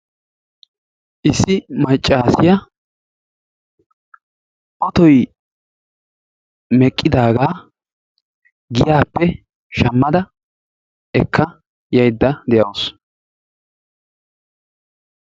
Issi maccaasiyaa ootoy meqqidaagaa giyaappe shammada ekka yaydda de'awusu.